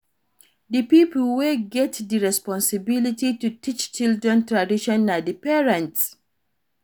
Di pipo wey get di responsibility to teach children tradition na di parents